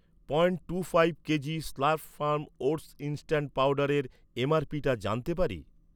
Point two five KG slurp farm oats instant পাউডারের এমআরপিটা জানতে পারি?